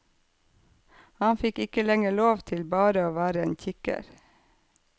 Han fikk ikke lenger lov til bare å være en kikker.